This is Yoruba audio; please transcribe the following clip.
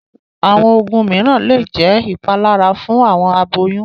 Àwọn oogun míràn le jẹ̀ ipàlàrà fun awọn àbòyún